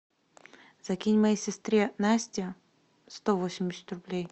закинь моей сестре насте сто восемьдесят рублей